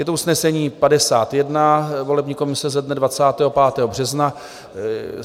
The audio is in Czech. Je to usnesení 51 volební komise ze dne 25. března.